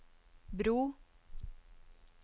bro